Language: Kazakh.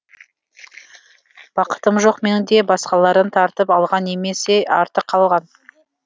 бақытым жоқ менің де басқалардан тартып алған немесе артық алған